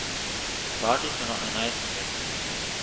Padli so na enajsto mesto.